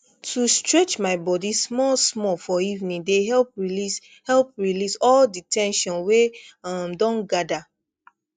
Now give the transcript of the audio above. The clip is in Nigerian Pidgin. to stretch my body small small for evening dey help release help release all the ten sion wey um don gather